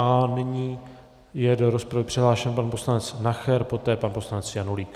A nyní je do rozpravy přihlášen pan poslanec Nacher, poté pan poslanec Janulík.